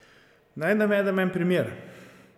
Naj navedem en primer.